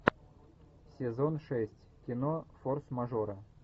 сезон шесть кино форс мажоры